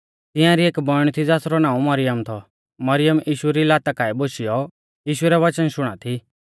तिंआरी एक बौइण थी ज़ासरौ नाऊं मरियम थौ मरियम यीशु री लाता काऐ बोशियौ यीशु रै वच़न शुणा थी